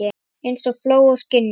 Eins og fló á skinni.